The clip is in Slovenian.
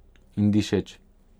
In Dišeč.